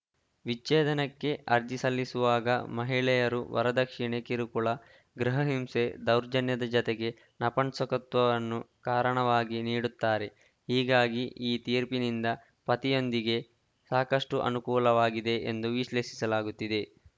ವಿಚ್ಛೇದನಕ್ಕೆ ಅರ್ಜಿ ಸಲ್ಲಿಸುವಾಗ ಮಹಿಳೆಯರು ವರದಕ್ಷಿಣೆ ಕಿರುಕುಳ ಗೃಹ ಹಿಂಸೆ ದೌರ್ಜನ್ಯದ ಜತೆಗೆ ನಪುಂಸಕತ್ವವನ್ನೂ ಕಾರಣವಾಗಿ ನೀಡುತ್ತಾರೆ ಹೀಗಾಗಿ ಈ ತೀರ್ಪಿನಿಂದ ಪತಿಯಂದಿಗೆ ಸಾಕಷ್ಟುಅನುಕೂಲವಾಗಿದೆ ಎಂದು ವಿಶ್ಲೇಷಿಸಲಾಗುತ್ತಿದೆ